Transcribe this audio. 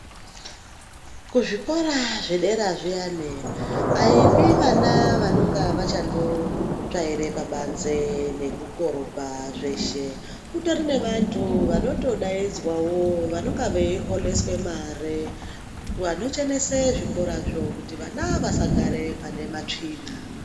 Kuzvikora zvedera zviyani aipi ana anenge achitsvaira pabanze nekukorobha zveshe kune vantu vanotodaidzwawo vanenge veiholeswa mare vanochenese zvikorazvo kuti vana vasagara panematsvina.